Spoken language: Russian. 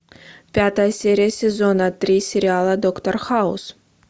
пятая серия сезона три сериала доктор хаус